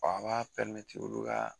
a b'a olu ka